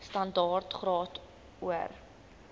standaard graad or